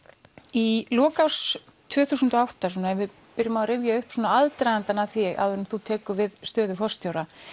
í lok árs tvö þúsund og átta ef við byrjum að rifja upp aðdragandann að því áður en þú tekur við stöðu forstjóra